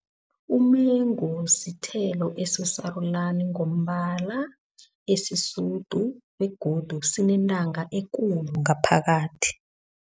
Umengu sithelo esisarulani ngombala esisidu begodu sinentanga ekulu ngaphakathi.